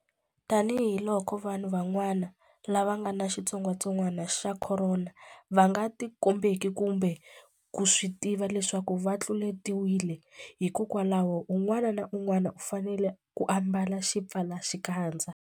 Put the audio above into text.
Tanihiloko vanhu van'wana lava nga ni xitsongwantsongwana xa Khorona va nga tikombeki kumbe ku swi tiva leswaku va tluletiwile, hikwalaho un'wana na un'wana u fanele ku ambala xipfalaxikandza.